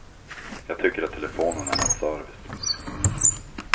Jag tycker att telefonen är en service.